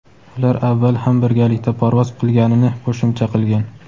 ular avval ham birgalikda parvoz qilganini qo‘shimcha qilgan.